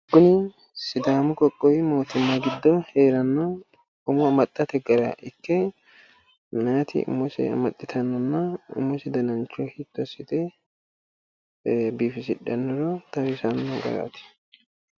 Kuni sidaamu qoqqowi mootimma giddo hee'ranno umo ammaxxate gara ikke meyaati umose amaxxittannonna umise danancho hiitto assite biifisidhannoro xawisanno garaati.